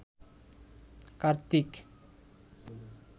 Kartik